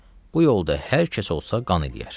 Bu yolda hər kəs olsa, qan eləyər.